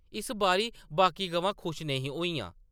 इस बारी बाकी गवां खुश नेईं होइयां ।